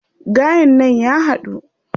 Gayen nan ya haɗu.